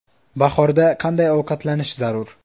Bahorda qanday ovqatlanish zarur?.